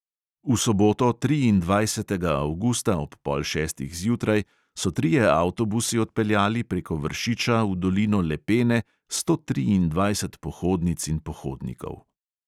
V soboto, triindvajsetega avgusta, ob pol šestih zjutraj so trije avtobusi odpeljali preko vršiča v dolino lepene sto triindvajset pohodnic in pohodnikov.